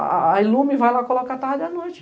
A a ilume vai lá e coloca a tarde e a noite.